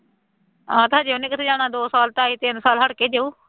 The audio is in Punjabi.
ਆ ਤਾਂ ਹਜੇ ਉਹਨੇ ਕਿੱਥੇ ਜਾਣਾ ਦੋ ਸਾਲ ਢਾਈ ਤਿੰਨ ਸਾਲ ਹੱਟ ਕੇ ਜਾਊ